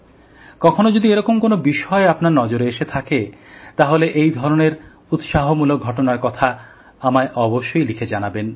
কখনো যদি এরকম কোন বিষয় আপনার নজরে এসে থাকে তাহলে এইধরনের উৎসাহমূলক ঘটনার কথা আমায় অবশ্যই লিখে জানাবেন